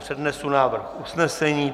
Přednesu návrh usnesení.